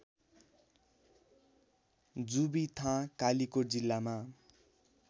जुबिथाँ कालिकोट जिल्लामा